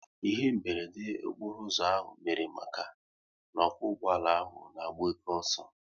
Ihe meberede okporo ụzọ ahụ mere maka n'okwo ụgbọala ahụ na-agba oke ọsọ